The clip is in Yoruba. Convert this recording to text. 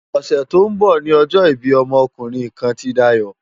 Òsè tó n bò ni òjò ibi òmò òkúrin kán ti Dayo